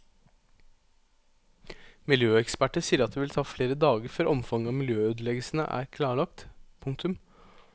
Miljøeksperter sier at det vil ta flere dager før omfanget av miljøødeleggelsene er klarlagt. punktum